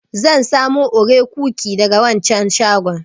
Zan samo Oreo cookie daga waccan shagon.